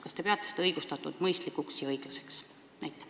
Kas te peate seda õigustatuks, mõistlikuks ja õiglaseks?